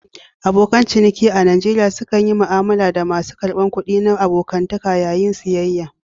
Abokan ciniki a Najeriya sukan yi mu'amala da masu karbar kuɗi na abokantaka yayin siyayya.